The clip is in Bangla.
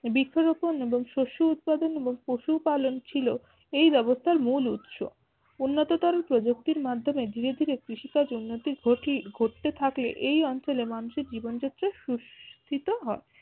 বৃক্ষরোপণ এবং শস্য উৎপাদন এবং পশু পালন ছিল এই ব্যবস্থার মূল উৎস উন্নতর প্রযুক্তির মাধ্যমে ধীরে ধীরে কৃষি কাজ উন্নতির ঘটি ঘটতে থাকলে এই অঞ্চলে মানুষের জীবন যাত্রা সুশিষ্ট্য হয়